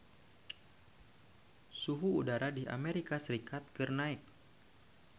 Suhu udara di Amerika Serikat keur naek